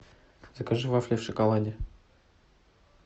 закажи вафли в шоколаде